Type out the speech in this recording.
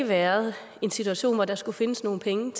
været en situation hvor der skulle findes nogle penge